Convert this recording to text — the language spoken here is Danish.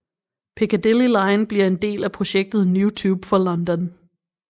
Piccadilly line bliver en del af projektet New Tube for London